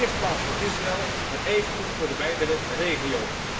In de eerste plaats voor Israël, maar evengoed voor de wijdere regio.